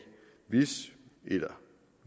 hvis eller